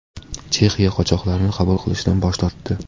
Chexiya qochoqlarni qabul qilishdan bosh tortdi.